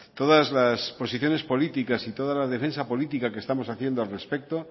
todas las posiciones políticas y toda la defensa política que estamos haciendo al respecto